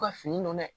U ka fini don dɛ